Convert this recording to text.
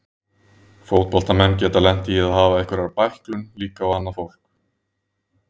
Fótboltamenn geta lent í að hafa einhverja bæklun líka og annað fólk.